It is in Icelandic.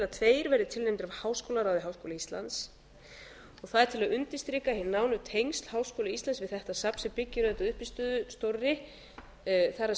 tveir verði tilnefndir af háskólaráði háskóla íslands og það er til að undirstrika hin nánu tengsl háskóla íslands við þetta safn sem byggir auðvitað á uppistöðu stórri það